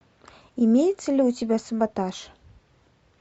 имеется ли у тебя саботаж